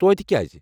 توتہِ کیٛازِ؟